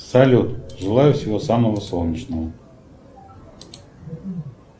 салют желаю всего самого солнечного